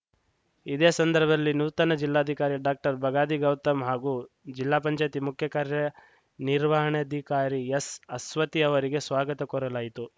ಇದೇ ಸಂದರ್ಭದಲ್ಲಿ ನೂತನ ಜಿಲ್ಲಾಧಿಕಾರಿ ಡಾಕ್ಟರ್ ಬಗಾದಿ ಗೌತಮ್‌ ಹಾಗೂ ಜಿಲ್ಲಾ ಪಂಚಯಾತಿ ಮುಖ್ಯ ಕಾರ್ಯನಿರ್ವಹಣಾಧಿಕಾರಿ ಎಸ್‌ಅಸ್ವತಿ ಅವರಿಗೆ ಸ್ವಾಗತ ಕೋರಲಾಯಿತು